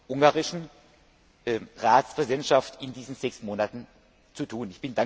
der ungarischen Ratspräsidentschaft in diesen sechs Monaten zu tun.